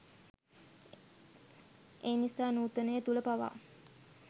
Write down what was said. එනිසා නූතනය තුළ පවා